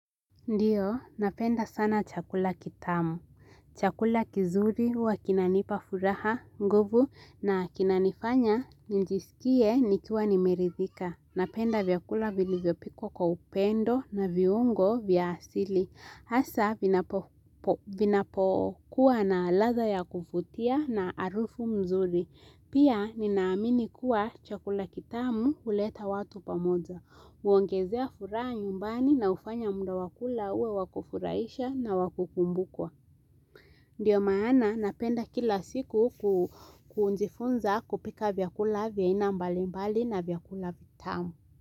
Ndiyo, napenda sana chakula kitamu. Chakula kizuri huwa kinanipa furaha, nguvu, na kinanifanya njisikie nikiwa nimeridhika. Napenda vyakula vilivyopikwa kwa upendo na viungo vya asili. Hasa, vinapokuwa na ladha ya kuvutia na harufu mzuri. Pia, ninaamini kuwa chakula kitamu huleta watu pamoja. Huongezea furaha nyumbani na hufanya muda wa kula uwe wakufurahisha na wakukumbukwa Ndiyo maana napenda kila siku kujifunza kupika vyakula vya aina mbali mbali na vyakula vitamu.